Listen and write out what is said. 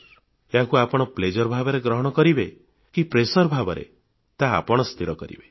କିନ୍ତୁ ପରୀକ୍ଷାକୁ ଆନନ୍ଦ କିମ୍ବା ମାନସିକ ଚାପ ଭାବରେ ଗ୍ରହଣ କରିବେ ତାହା ଆପଣ ସ୍ଥିର କରିବେ